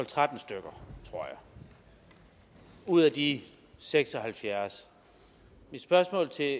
tretten stykker tror jeg ud af de seks og halvfjerds mit spørgsmål til